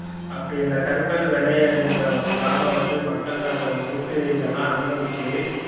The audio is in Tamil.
அப்ப இந்த கருப்பர் வெள்ளையர்ன்ற ஒரு காலம் வந்து மக்கள் அந்த ஒதுக்கு இதெல்லாம் அனுபவிச்சு